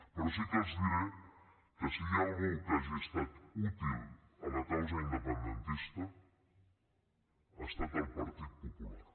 però sí que els diré que si hi ha algú que hagi estat útil a la causa independentista ha estat el partit popular